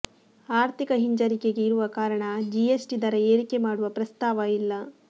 ಆರ್ಥಿಕ ಹಿಂಜರಿಕೆಗೆ ಇರುವ ಕಾರಣ ಜಿಎಸ್ಟಿ ದರ ಏರಿಕೆ ಮಾಡುವ ಪ್ರಸ್ತಾವ ಇಲ್ಲ